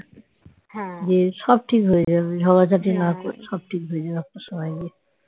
সব ঠিক হয়ে যাবে ঝগড়াঝাটি না করে সব ঠিক হয়ে যাবে একটু সময় দে